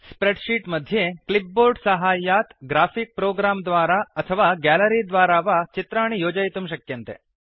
spread sheet मध्ये clipboard साहाय्यात् graphic program द्वारा अथवा ग्यालरि द्वारा वा चित्राणि योजयितुं शक्यन्ते